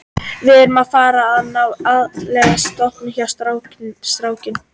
Við erum að fara að ná í æðislegan toppara hjá strák